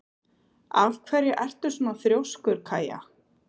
Af hverju ertu svona þrjóskur, Kaja?